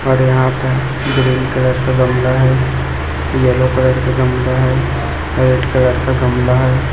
और यहां पे ग्रीन कलर का गमला है येलो कलर का गमला है रेड कलर का गमला है।